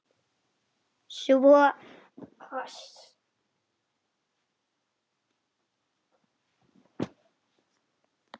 Svo koss.